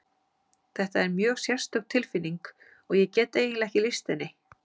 Þetta er mjög sérstök tilfinning og ég get eiginlega ekki lýst henni.